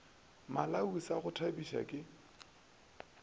malawi sa go thabiša ke